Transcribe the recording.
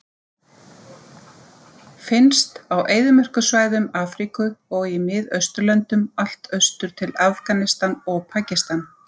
Finnst á eyðimerkursvæðum Afríku og í Miðausturlöndum allt austur til Afganistan og Pakistan.